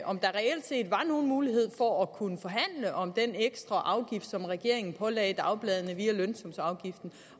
om der reelt set var nogen mulighed for at kunne forhandle om den ekstra afgift som regeringen pålagde dagbladene via lønsumsafgiften